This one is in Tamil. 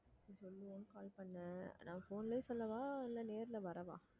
call பண்ணேன் நான் phone லயே சொல்லவா இல்லை நேர்ல வரவா